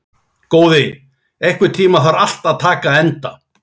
Góði, einhvern tímann þarf allt að taka enda.